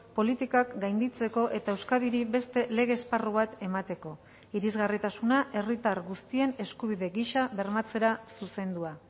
politikak gainditzeko eta euskadiri beste lege esparru bat emateko irisgarritasuna herritar guztien eskubide gisa bermatzera zuzendua